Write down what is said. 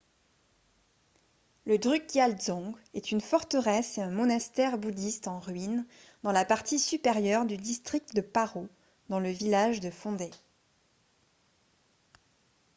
le drukgyal dzong est une forteresse et un monastère bouddhiste en ruine dans la partie supérieure du district de paro dans le village de phondey